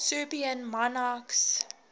serbian monarchs